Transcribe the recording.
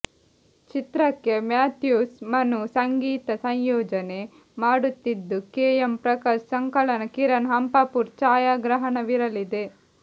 ಚಿತ್ರಕ್ಕೆ ಮ್ಯಾಥ್ಯೂಸ್ ಮನು ಸಂಗೀತ ಸಂಯೋಜನೆ ಮಾಡುತ್ತಿದ್ದು ಕೆ ಎಂ ಪ್ರಕಾಶ್ ಸಂಕಲನ ಕಿರಣ್ ಹಂಪಾಪುರ್ ಛಾಯಾಗ್ರಹಣವಿರಲಿದೆ